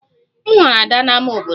M hụrụ Ada na ámá obodo